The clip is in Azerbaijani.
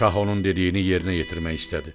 Şah onun dediyini yerinə yetirmək istədi.